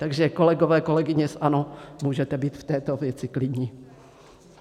Takže kolegové, kolegyně z ANO, můžete být v této věci klidní.